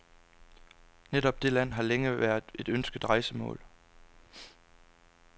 Netop det land har længe været et ønsket rejsemål